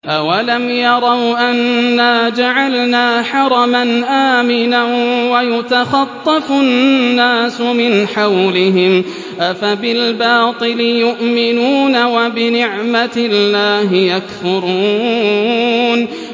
أَوَلَمْ يَرَوْا أَنَّا جَعَلْنَا حَرَمًا آمِنًا وَيُتَخَطَّفُ النَّاسُ مِنْ حَوْلِهِمْ ۚ أَفَبِالْبَاطِلِ يُؤْمِنُونَ وَبِنِعْمَةِ اللَّهِ يَكْفُرُونَ